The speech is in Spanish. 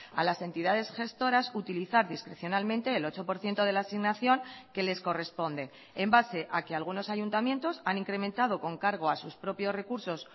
a las entidades gestoras utilizar discrecionalmente el ocho por ciento de la asignación que les corresponde en base a que algunos ayuntamientos han incrementado con cargo a sus propios recursos